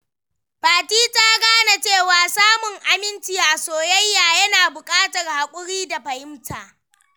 Fati ta gane cewa samun aminci a soyayya yana bukatar hakuri da fahimta.